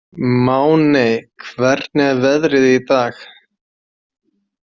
Máney, hvernig er veðrið í dag?